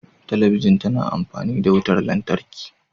Talabijin tana amfani da wutar lantarki.